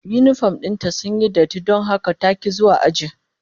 Yinifom din ta sun yi datti don haka ta ki zuwa aji